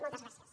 moltes gràcies